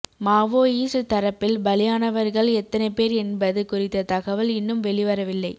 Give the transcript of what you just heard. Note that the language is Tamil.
மாவோயிஸ்ட் தரப்பில் பலியானவர்கள் எத்தனை பேர் என்பது குறித்த தகவல் இன்னும் வெளிவரவில்லை